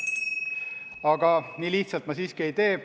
Aga nii lihtsalt ma siiski ei tee.